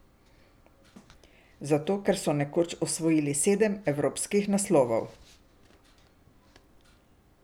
Zato, ker so nekoč osvojili sedem evropskih naslovov.